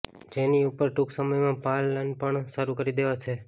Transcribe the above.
જેની ઉપર ટૂંક સમયમાં પાલન પણ શરૂ કરી દેવાશે